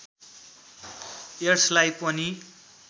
एड्सलाई पनि